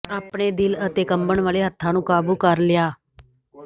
ਆਪਣੇ ਦਿਲ ਅਤੇ ਕੰਬਣ ਵਾਲੇ ਹੱਥਾਂ ਨੂੰ ਕਾਬੂ ਕਰ ਲਿਆ